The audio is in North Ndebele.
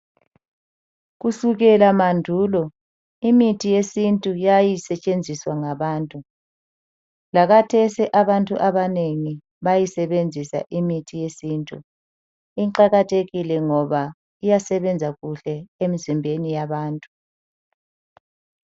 Kusukela mandulo imithi yesintu yayisetshenziswa ngabantu. Lakathesi abantu abanengi bayayisebenzisa imithi yesintu. Iqakathekile ngoba iyasebenza kuhle emizimbeni yabantu.